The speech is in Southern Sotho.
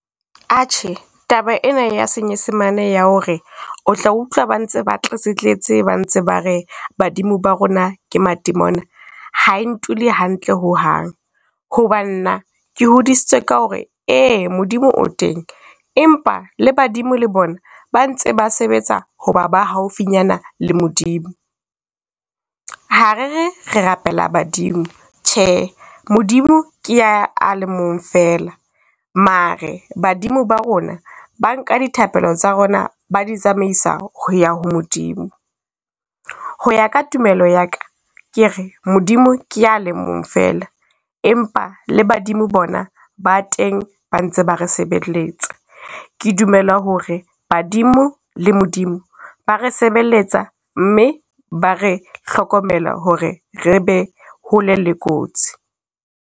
Atjhe, taba ena ya Senyesemane ya ho re o tla utlwa ba ntse ba tletse tletse, ba ntse ba re badimo ba rona ke matemona ha e ntule hantle ho hang. Ho ba nna ke hodisitswe ka hore ee Modimo o teng, empa le Badimo le bona ba ntse ba sebetsa ho ba ba haufinyana le Modimo. Ha re re re rapele Badimo thje, Modimo ke a, a le mong fela. Mare Badimo ba rona, ba nka dithapelo tsa rona ba di tsamaisa ho ya ho Modimo. Ho ya ka tumelo ya ka, ke re Modimo ke ya le mong fela. Empa le Badimo bona ba teng ba ntse ba re sebelletsa. Ke dumela ho re Badimo le Modimo ba re sebelletsa, mme ba re hlokomela ho re re be hole le kotsi.